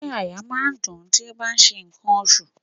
Ṣé àyà máa ń dùn-ún tí ó bá ń ṣe ǹkan oṣù?